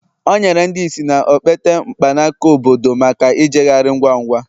o nyere ndị ìsì na okpete mkpanaka obodo maka ijegharị ngwa ngwa